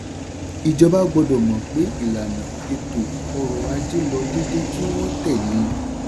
ìjọba gbọ́dọ̀ mọ̀ pé ìlànà ètò-ọrọ̀ajé lọ déédé kí wọ́n tẹ̀lé e.